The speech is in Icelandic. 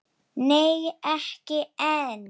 Nei, ekki enn.